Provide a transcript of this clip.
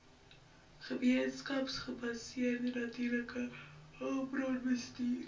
gemeenskapsgebaseerde natuurlike hulpbronbestuur